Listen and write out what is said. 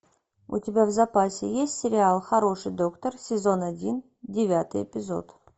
у тебя в запасе есть сериал хороший доктор сезон один девятый эпизод